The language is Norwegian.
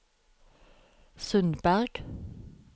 Sundberg